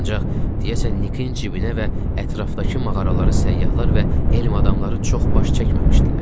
Ancaq deyəsən Nikin Cilinə və ətrafdakı mağaraları səyyahlar və elm adamları çox baş çəkməmişdilər.